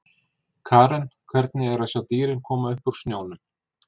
Karen: Hvernig er að sjá dýrin koma upp úr snjónum?